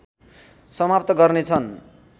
समाप्त गर्नेछन्